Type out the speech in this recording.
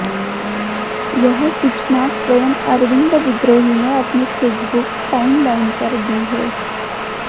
यह सूचना स्वयं अरविन्द विद्रोही ने अपनी फेसबुक टाइमलाइन पर दी है